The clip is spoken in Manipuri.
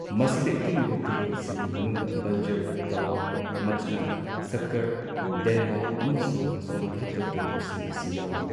ꯃꯁꯤꯗ ꯏꯇꯤꯜꯂꯤꯕ ꯇꯨꯔꯦꯜꯁꯤꯡꯒꯤ ꯃꯅꯨꯡꯗ ꯕꯟꯖꯔ, ꯇꯋꯥ, ꯃꯆꯅꯥ, ꯁꯛꯀꯔ, ꯗꯦꯟꯋꯥ ꯑꯃꯁꯨꯡ ꯁꯣꯟꯚꯗ꯭ꯔ ꯇꯨꯔꯦꯜꯁꯤꯡ ꯑꯁꯤ ꯌꯥꯎꯏ꯫